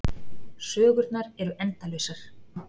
Sögurnar eru endalausar.